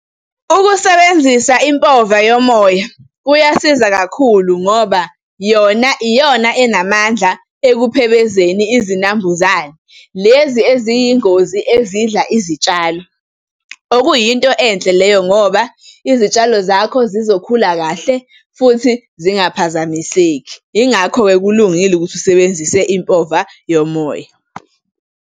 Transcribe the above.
Ukusebenzisa impova yomoya kuyasiza kakhulu, ngoba yona iyona enamandla ekusephebezeni izinambuzane lezi eziyingozi ezidla izitshalo. Okuyinto enhle leyo, ngoba izitshalo zakho zizokhula kahle futhi zingaphazamiseki. Yingakho-ke kulungile ukuthi usebenzise impova yomoya.